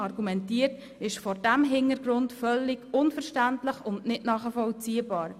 Das ist vor diesem Hintergrund völlig unverständlich und nicht nachvollziehbar.